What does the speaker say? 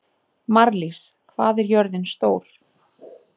Marlís, hvað er jörðin stór?